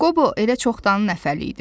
Qobo elə çoxdanın nəfər idi.